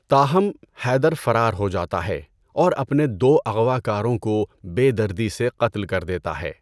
تاہم، حیدر فرار ہو جاتا ہے اور اپنے دو اغوا کاروں کو بے دردی سے قتل کر دیتا ہے۔